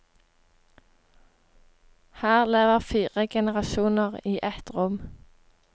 Her lever fire generasjoner i ett rom.